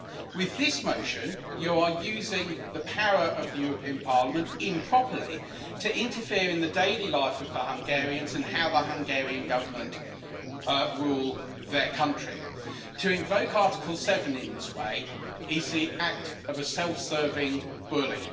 With this motion you are using the power of the European Parliament improperly to interfere in the daily life of the Hungarians and how the Hungarian Government rules their country. To invoke Article 7 in this way is the act of a self serving bully.